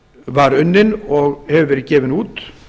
var unnin og hefur verið gefin út